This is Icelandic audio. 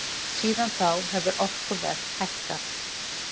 Síðan þá hefur orkuverð hækkað.